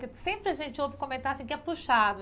Porque sempre a gente ouve comentar assim que é puxado.